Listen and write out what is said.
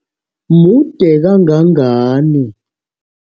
Mude kangangani?